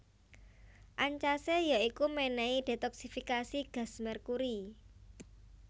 Ancase ya iku menehi detoksifikasi gas merkuri